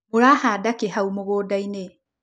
Mũrahanda kĩ hau mũgũnda-inĩ